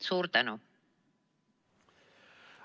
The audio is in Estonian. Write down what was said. Suur tänu!